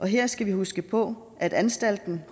her skal vi huske på at anstalten